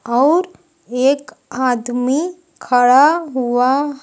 और एक आदमी खड़ा हुआ--